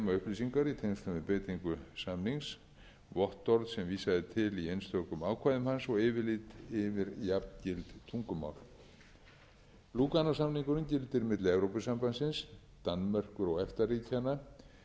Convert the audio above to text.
upplýsingar í tengslum við beitingu samnings vottorð sem vísað er til í einstökum ákvæðum og yfirlit yfir jafngild tungumál lúganósamningurinn gildir milli evrópubandalagsins danmerkur og efta ríkjanna íslands noregs og